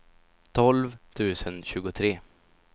tolv tusen tjugotre